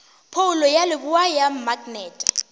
phoulo ya leboa ya maknete